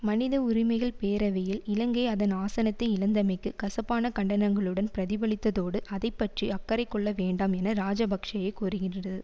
மனித உரிமைகள் பேரவையில் இலங்கை அதன் ஆசனத்தை இழந்தமைக்கு கசப்பான கண்டனங்களுடன் பிரதிபலித்ததோடு அதை பற்றி அக்கறை கொள்ள வேண்டாம் என இராஜபக்ஷவைக் கோருகின்றது